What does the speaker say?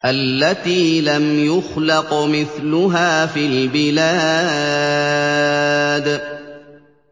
الَّتِي لَمْ يُخْلَقْ مِثْلُهَا فِي الْبِلَادِ